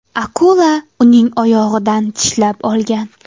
Akula uning oyog‘idan tishlab olgan.